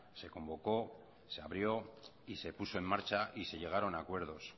se convocó se abrió y se puso en marcha y se llegaron a acuerdos